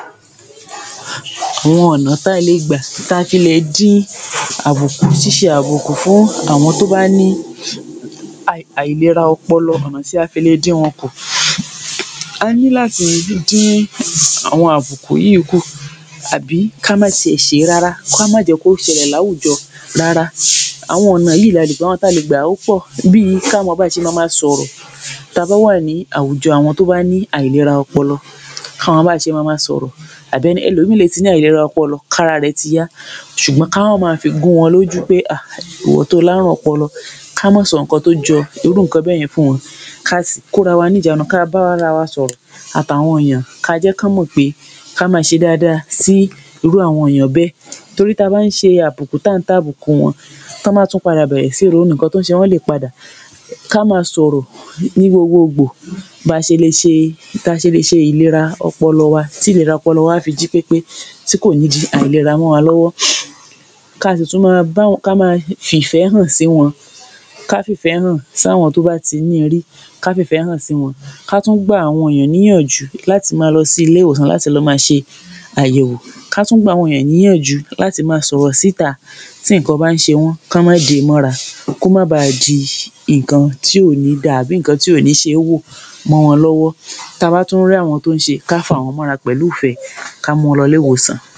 Awọn ọ̀nà tá a le gbà tá a fi le dín àbùkù ṣíṣe àbùkù fún àwọn tó bá ní àì àìlera ọpọlọ ọ̀nà tí a fi le dín wọn kù a ní láti dín àwọn àbùkù yìí kù àbí ká má tiẹ̀ ṣe é rárá, ká má jẹ́ kó ṣẹlẹ̀ láwùjọ rárá àwọn ọ̀nà yìí lá lè ba wọn, tá a lè gbà ó pọ̀ bíi ká mọ́ bí a ṣe ma máa sọ̀rọ̀ tá a bá wà ní àwùjọ àwọn tó bá ní àìlera ọpọlọ ká mọ bá ṣe má máa sọ̀rọ̀ àbi ẹlòmíìn le ti ní àìlera ọpọlọ kára rẹ ti yá ṣùgbọ́n ká má máa fi gún wọn lójú pé hà ìwọ tó o lárùn ọpọlọ ká mọ́ sọ nǹkan tó jọ irú nǹkan bẹ́yẹn fún wọn káà sí kórawa ní ìjánu ká bárawa sọ̀rọ̀ àtàwọn èèyàn ká jẹ́ kán mọ̀ pé ká máa ṣe dáadáa sí irú àwọn èèyàn bẹ́ẹ̀ torí tá a bá ń ṣe àbùkù tá ń tàbùkù wọn tán bá tún padà bẹ̀rẹ̀ sí ní ronú nǹkan tó ń ṣe wọ́n lè padà ká máa sọ̀rọ̀ ní gbogbo gbò báa ṣe le ṣe táa ṣe le ṣe ìlèra ọpọlọ wa tí ìlera ọpọlọ wa áfi jí pépé tí kò ní di àìlera mọ́ wa lọ́wọ́ káa sì tún máa báwọn ká máa fìfẹ́ hàn sí wọn ká fìfẹ́ hàn fáwọn tó bá ti ní i rí ká fìfẹ́ hàn sí wọn ka tún gba àwọn èèyàn níyànjú láti máa lọ sí ilé ìwòsàn láti lọ máa ṣe àyẹ̀wò ká tú gb’àwọn èèyàn níyànjú láti máa sọ̀rọ̀ sí ìta tí nǹkan bá ń ṣe wọ́n kán má dé e mọ́ra kó má baà di nǹkan tí ò ní dáa àbí nǹkan tí ò ní ṣe é wò mọ́ wọn lọ́wọ́ táa bá tún r’áwọn tó ń ṣe ká fàwọn mọ́ra pẹ̀lú ìfẹ́ ká mú wọn lọ ilé-ìwòsàn